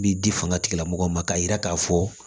Bi di fanga tigilamɔgɔw ma k'a yira k'a fɔ